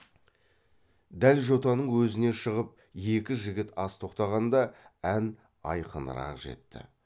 дәл жотаның өзіне шығып екі жігіт аз тоқтағанда ән айқынырақ жетті